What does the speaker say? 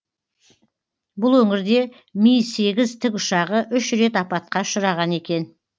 бұл өңірде ми сегіз тікұшағы үш рет апатқа ұшыраған екен